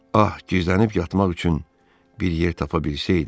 Ax gizlənib yatmaq üçün bir yer tapa bilsəydi.